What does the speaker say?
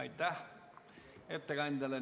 Aitäh ettekandjale!